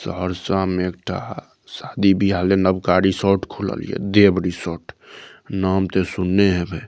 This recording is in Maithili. सहरसा में एकटा शादी-बिहा ले नवका रीशार्ट खोललिये देब रिसोर्ट नाम तअ सुने हवे।